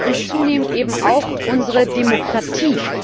Aber er kostet uns zunehmend auch unsere Demokratie.